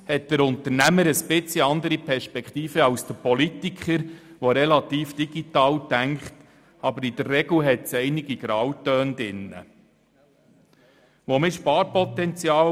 Denn meistens hat der Unternehmer eine etwas andere Perspektive als der Politiker, der relativ digital denkt, obwohl in der Regel einige Grautöne enthalten sind.